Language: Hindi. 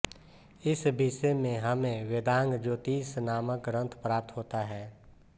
इस विषय में हमें वेदांग ज्योतिष नामक ग्रंथ प्राप्त होता है